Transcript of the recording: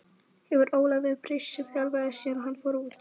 Hefur Ólafur breyst sem þjálfari síðan hann fór út?